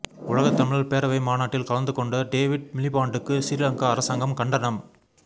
உலகத்தமிழர் பேரவை மாநாட்டில் கலந்துகொண்ட டேவிட் மிலிபான்டுக்கு சிறீலங்கா அரசாங்கம் கண்டனம்